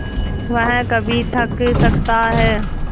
वह कभी थक सकता है